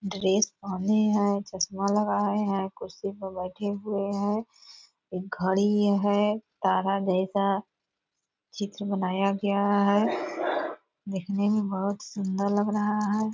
Dress पहने है चश्मा लगाए है कुर्सी पर बैठे हुए है घड़ी है तारा जैसा चित्र बनाया गया है दिखने में बहुत सुन्दर लग रहा है।